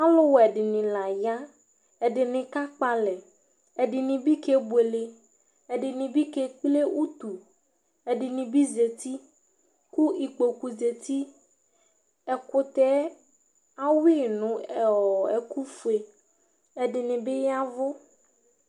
Aluwɛdini la ya ɛdini kakpalɛ ɛdini bi kebuele ɛdini bi kekple utu ɛdini bi zati ku ikpoku zati ɛkutɛ ayui nu ɛku fue ɛdini bi yavu